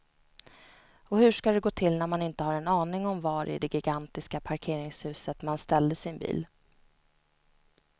Och hur ska det gå till när man inte har en aning om var i det gigantiska parkeringshuset man ställde sin bil.